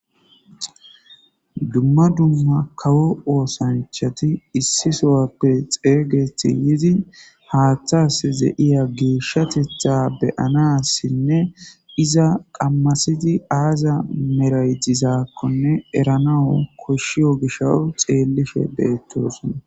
dumma dumma kawo oosanchati issi sowappe xeeygeti yidi haaththas ze7iya geeshshatetha beyanassinne iza qammasidi aaza meraytizaakkonne eranawu koshshiyo gishaw xeellife beettosona